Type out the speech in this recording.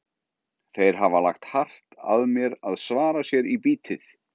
Þeir hafa lagt hart að mér að svara sér í bítið.